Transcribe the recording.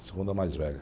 A segunda mais velha.